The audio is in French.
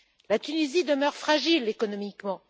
La Tunisie demeure fragile économiquement